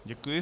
Děkuji.